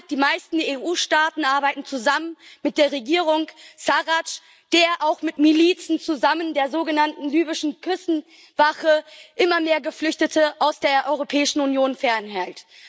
Die meisten EU Staaten arbeiten zusammen mit der Regierung Sarradsch, die auch zusammen mit Milizen der sogenannten libyschen Küstenwache immer mehr Geflüchtete aus der Europäischen Union fernhält.